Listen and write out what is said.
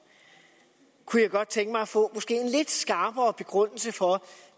kunne jeg godt tænke mig at få måske en lidt skarpere begrundelse for